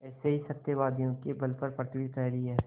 ऐसे ही सत्यवादियों के बल पर पृथ्वी ठहरी है